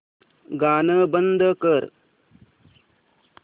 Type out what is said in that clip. गाणं बंद कर